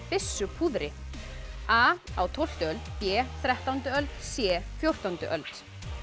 byssupúðri a á tólftu öld b þrettándu öld c fjórtándu öld